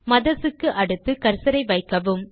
mothers க்கு அடுத்து கர்சரை வைக்கவும்